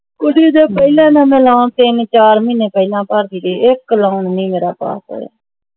ਪਹਿਲਾਂ ਨਾ ਮੈਂ loan ਤਿੰਨ ਚਾਰ ਮਹੀਨਾ ਪਹਿਲਾਂ ਭਰ ਕੇ ਗਈ ਇਕ loan ਨਹੀਂ ਮੇਰਾ pass ਹੋਇਆ